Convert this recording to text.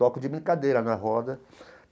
Toco de brincadeira, na roda.